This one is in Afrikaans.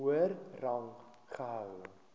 hoër rang gehou